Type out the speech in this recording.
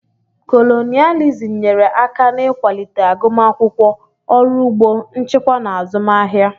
Kolonịalizim nyere aka n'ịkwalite agụmakwụkwọ, ọrụ ugbo, nchịkwa na azụmahịa.